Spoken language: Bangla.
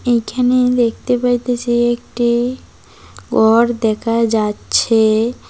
এইখানে দেখতে পাইতাসি একটি ঘর দেখা যাচ্ছে।